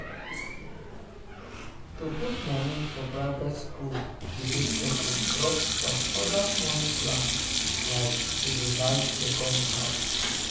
um to put money for private school dey make person drop some other money plans like to um dey buy second house.